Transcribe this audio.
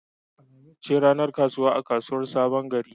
Alhamis ce ranar kasuwa a unguwar Sabon Gari.